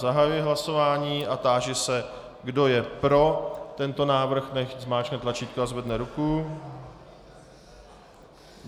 Zahajuji hlasování a táži se, kdo je pro tento návrh, nechť zmáčkne tlačítko a zvedne ruku.